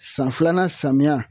San filanan samiya